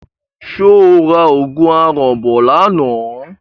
Ṣé o ra òògùn aràn bọ̀ lánàá?